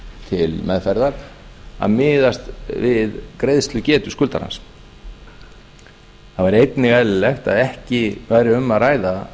til meðferðar að miðast við greiðslugetu skuldarans það var einnig eðlilegt að ekki væri um að ræða